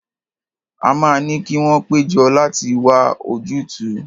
A máa ní kí wọ́n pé jọ láti wá ojútùú.